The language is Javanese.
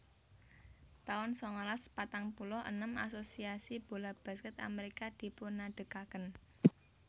taun sangalas patang puluh enem Asosiasi Bola Basket Amerika dipunadegaken